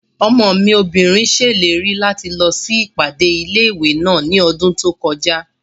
Ọmọ mi obìnrin ṣèlérí láti lọ sí ìpàdé ilé-ìwé náà ní ọdún tó kọjá